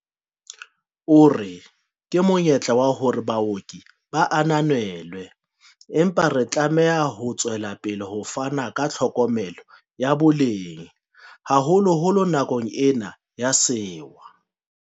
O re, "Ke monyetla wa hore baoki ba ananelwe, empa re tlameha ho tswelapele ho fana ka tlhokomelo ya boleng, haholoholo nakong ena ya sewa."